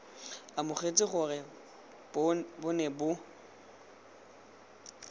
amogetse gore bo ne bo